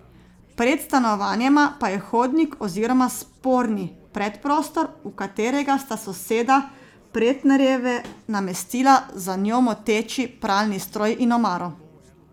Pred stanovanjema pa je hodnik oziroma sporni predprostor, v katerega sta soseda Pretnarjeve namestila za njo moteči pralni stroj in omaro.